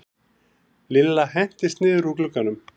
Lilla hentist niður úr glugganum.